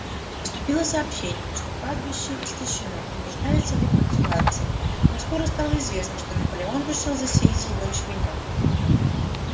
поступило сообщение что пастбище истощено и нуждается в рекультивации но скоро стало известно что наполеон решил засеять его ячменём